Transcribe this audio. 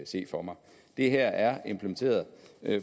se for mig det her er implementeret